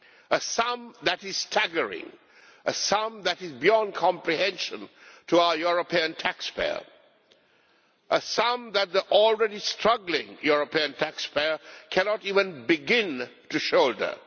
This is a staggering sum, a sum that is beyond comprehension to our European taxpayers, a sum that the already struggling European taxpayer cannot even begin to shoulder.